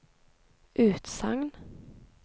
utsagn